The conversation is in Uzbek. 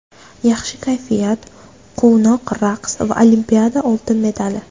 Yaxshi kayfiyat, quvnoq raqs va Olimpiada oltin medali.